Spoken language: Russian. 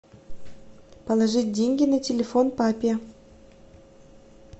положить деньги на телефон папе